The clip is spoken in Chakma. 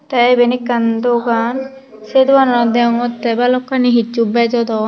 tey eben akkan dogan say dogananot dagogota balokani hesu bejo don.